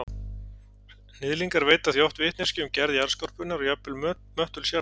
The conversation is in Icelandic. Hnyðlingar veita því oft vitneskju um gerð jarðskorpunnar og jafnvel möttuls jarðar.